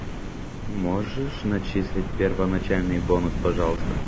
можешь начислить первоначальный бонус пожалуйста